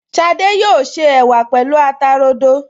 Ṣadé yóò se ẹ̀wà pẹ̀lú ata rodo